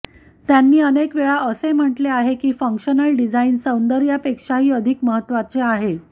त्यांनी अनेक वेळा असे म्हटले आहे की फंक्शनल डिझाइन सौंदर्यपेक्षाही अधिक महत्त्वाचे आहे